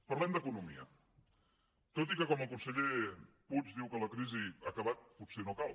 parlem d’economia tot i que com que el conseller puig diu que la crisi ha acabat potser no cal